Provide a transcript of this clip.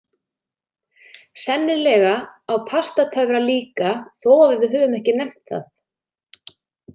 Sennilega á Pastatöfra líka þó að við höfum ekki nefnt það.